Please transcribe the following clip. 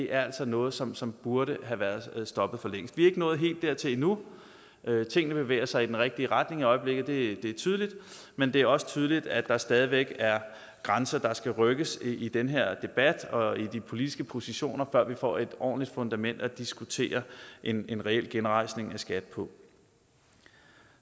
er noget som som burde have været stoppet for længst vi er ikke nået helt dertil endnu tingene bevæger sig i den rigtige retning i øjeblikket det er tydeligt men det er også tydeligt at der stadig væk er grænser der skal rykkes i den her debat og i de politiske positioner før vi får et ordentligt fundament at diskutere en en reel genrejsning af skat på